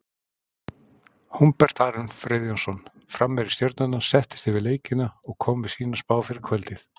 Hólmbert Aron Friðjónsson, framherji Stjörnunnar, settist yfir leikina og kom með sína spá fyrir kvöldið.